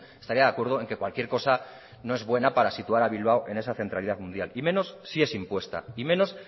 estaría de acuerdo en que cualquier cosa no es buena para situar a bilbao en esa centralidad mundial y menos si es impuesta y menos